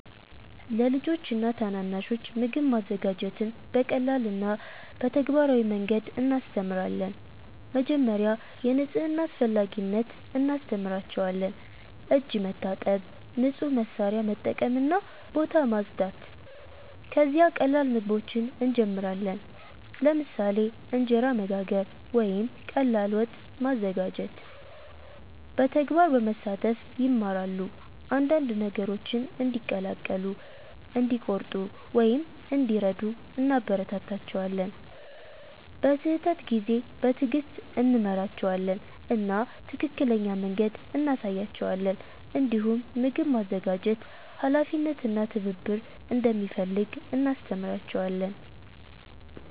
ለልጆች ወይም ታናናሾች ምግብ ማዘጋጀትን በቀላል እና በተግባራዊ መንገድ እናስተምራለን። መጀመሪያ የንጽህና አስፈላጊነት እናስተምራቸዋለን፤ እጅ መታጠብ፣ ንጹህ መሳሪያ መጠቀም እና ቦታ ማጽዳት። ከዚያ ቀላል ምግቦችን እንጀምራለን፣ ለምሳሌ እንጀራ መጋገር ወይም ቀላል ወጥ ማዘጋጀት። በተግባር በመሳተፍ ይማራሉ፤ አንዳንድ ነገሮችን እንዲቀላቀሉ፣ እንዲቆርጡ ወይም እንዲረዱ እናበረታታቸዋለን። በስህተት ጊዜ በትዕግስት እንመራቸዋለን እና ትክክለኛ መንገድ እንሳያቸዋለን። እንዲሁም ምግብ ማዘጋጀት ኃላፊነት እና ትብብር እንደሚፈልግ እናስተምራቸዋለን።